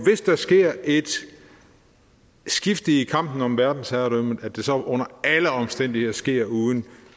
sker et skifte i kampen om verdensherredømmet at det så under alle omstændigheder sker uden